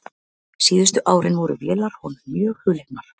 Síðustu árin voru vélar honum mjög hugleiknar.